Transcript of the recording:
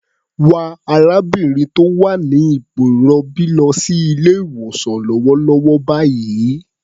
Wa arábìnrin tó wà ní ipò ìrọbí lọ sí ilé-ìwosàn lọ́wọ́lọ́wọ́ báyìí.